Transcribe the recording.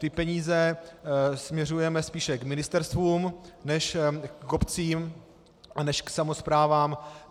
Ty peníze směřujeme spíše k ministerstvům než k obcím a než k samosprávám.